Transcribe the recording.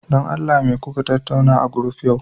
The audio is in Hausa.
don Allah me kuka tattauna a group yau